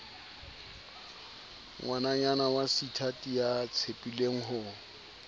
ngwananyana waseithati ya tshepileng ho